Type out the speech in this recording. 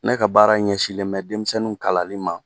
Ne ka baara ɲɛsinnen bɛ denmisɛnninw kalanni ma